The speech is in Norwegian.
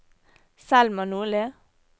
Selma Nordli